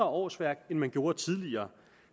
årsværk end man gjorde tidligere